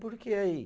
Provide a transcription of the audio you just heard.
Por que aí?